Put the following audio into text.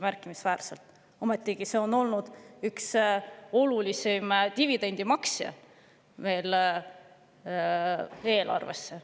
Ometigi on ettevõte olnud üks olulisimaid dividendimaksjaid eelarvesse.